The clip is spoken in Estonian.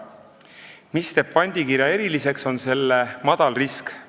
Mis teeb pandikirja eriliseks, on selle madal risk.